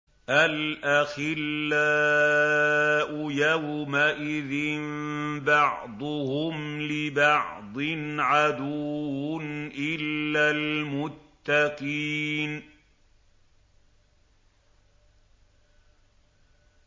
الْأَخِلَّاءُ يَوْمَئِذٍ بَعْضُهُمْ لِبَعْضٍ عَدُوٌّ إِلَّا الْمُتَّقِينَ